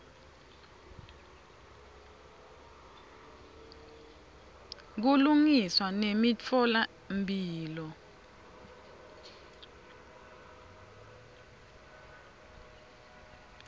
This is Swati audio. kulungiswa nemitfola mphilo